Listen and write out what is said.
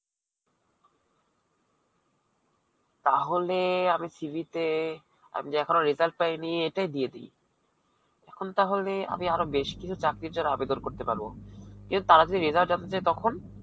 তাহলে আমি CV তে আমি এখনো result এটাই দিয়ে দিই. এখন তাহলে আমি আরো বেশী কিছু চাকরির জন্যে আবেদন করতে পারবো. কিন্তু তারা যদি result জানতে চায় তখন?